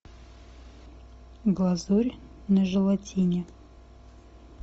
глазурь на желатине